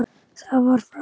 Það var frá